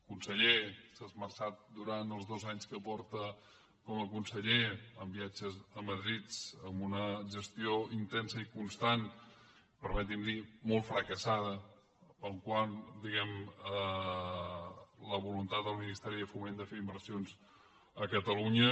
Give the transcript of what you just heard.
conseller s’ha esmerçat durant els dos anys que porta com a conseller en viatges a madrid amb una gestió intensa i constant permeti’m dir ho molt fracassada quant diguem ne a la voluntat del ministeri de foment de fer inversions a catalunya